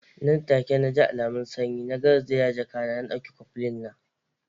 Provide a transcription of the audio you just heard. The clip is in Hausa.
Nan take naji alamun sanyi, na garzaya zuwa jakata na dauki koflin na.